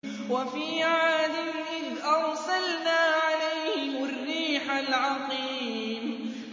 وَفِي عَادٍ إِذْ أَرْسَلْنَا عَلَيْهِمُ الرِّيحَ الْعَقِيمَ